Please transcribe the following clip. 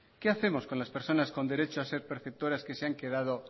qué hacemos con las personas con derecho a ser perceptoras que se han quedado